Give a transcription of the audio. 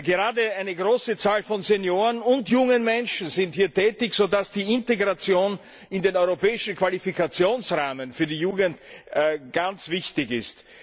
Gerade eine große Zahl von Senioren und jungen Menschen sind hier tätig, so dass die Integration in den europäischen Qualifikationsrahmen für die Jugend ganz wichtig ist.